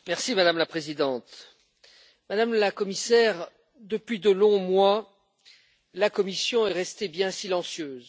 Madame la Présidente, Madame la Commissaire, depuis de longs mois, la Commission est restée bien silencieuse.